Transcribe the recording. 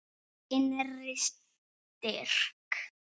Innri styrk.